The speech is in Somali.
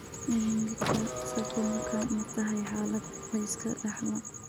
Ewingika sarcomka ma tahay xaalad la iska dhaxlo?